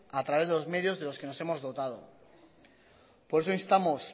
a través de los medios de los que nos hemos dotado por eso instamos